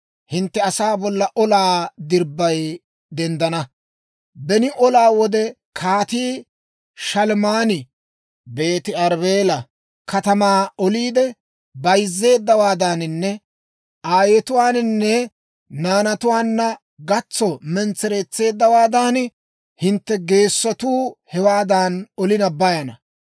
hintte asaa bolla olaa dirbbay denddana; beni olaa wode Kaatii Shalmmaani Beeti-Arbbeela katamaa oliide bayzeedawaadaaninne aayetuwaananne naanatuwaanna gatso mentsereetseeddawaadan, hintte geesotuu hewaadan olina bayana.